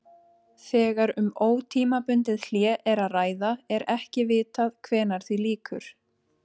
Þegar um ótímabundið hlé er að ræða er ekki vitað hvenær því lýkur.